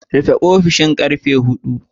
Rufe ofishin karfe hudu